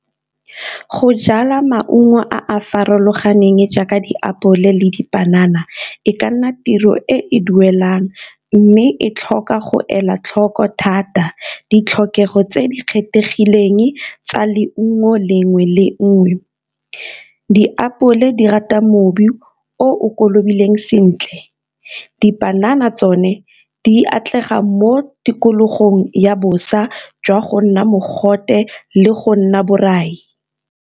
Go jala maungo a a farologaneng jaaka diapole le dipanana e ka nna tiro e e duelang, mme e tlhoka go ela tlhoko thata ditlhokego tse di kgethegileng tsa leungo le nngwe le nngwe. Diapole di rata o kolobile sentle, dipanana tsone di atlega mo tikologong ya bosa jwa go nna mogote le go nna borai.